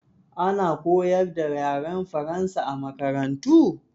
Ana koyar da yaren Faransa a makarantu?